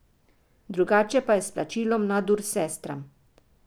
Drugače pa je s plačilom nadur sestram.